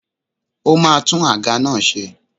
Ó ma tún àga náà ṣe.